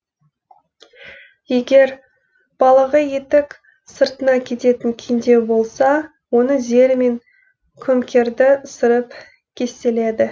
егер балағы етік сыртына кететін кеңдеу болса оны зермен көмкерді сырып кестеледі